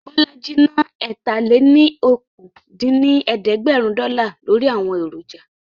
Bọ́lájí ná ẹ̀ta-lé-ní-okòó dín ní ẹ̀ẹ́dẹ́gbẹ́rún dọ́là lórí àwọn èròjà